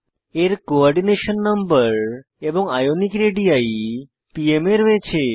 এর coordination number এবং ionic radii pm এ রয়েছে